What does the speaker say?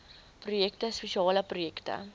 projekte spesiale projekte